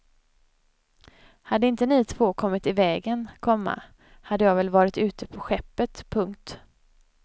Hade inte ni två kommit i vägen, komma hade jag väl varit kvar ute på skeppet. punkt